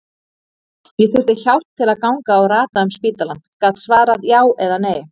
Ég þurfti hjálp til að ganga og rata um spítalann, gat svarað já eða nei.